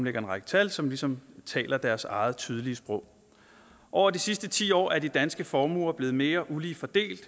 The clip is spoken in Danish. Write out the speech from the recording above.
en række tal som ligesom taler deres eget tydelige sprog over de sidste ti år er de danske formuer blevet mere ulige fordelt